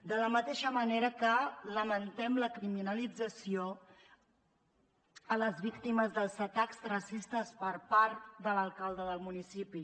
de la mateixa manera que lamentem la criminalització a les víctimes dels atacs racistes per part de l’alcalde del municipi